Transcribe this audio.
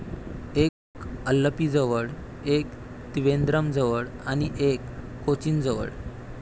एक अल्लपीजवळ, एक त्रिवेंद्रमजवळ आणि एक कोचिनजवळ.